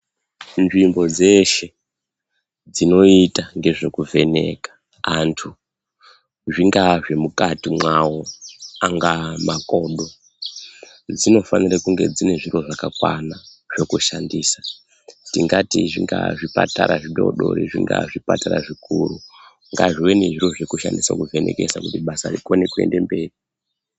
Nzvimbo dzeshe dzinoita ngezvekuvheneka antu zvingaa zvemukati mwavo, angaa makodo dzinofanire kunge dzine zviro zvakakwana zvekushandisa. Tingati zvingaa zvipatara zvidoodori, zvingaa zvipatara zvikuru, ngazvive nezviro zvokushandisa kuvhenekesa kuti basa rikone kuende mberi.